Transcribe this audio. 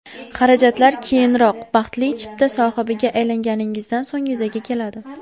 Xarajatlar keyinroq, baxtli chipta sohibiga aylanganingizdan so‘ng yuzaga keladi.